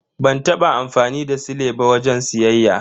Ban taba amfani da sile ba wajen siyayya.